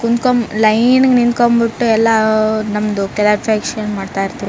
ಕುಂತ್ಕೊಂಡು ಲೈನ್ ಗ್ ನಿಂತ್ಕೊಂಡು ಬಿಟ್ಟು ಎಲ್ಲ ನಮ್ದು ಮಾಡ್ತಾ ಇದ್ರು .